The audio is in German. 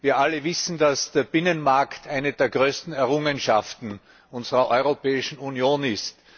Wir alle wissen, dass der Binnenmarkt eine der größten Errungenschaften unserer Europäischen Union ist.